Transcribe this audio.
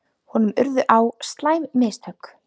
Honum urðu á slæm mistök.